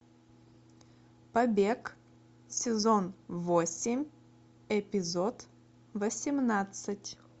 побег сезон восемь эпизод восемнадцать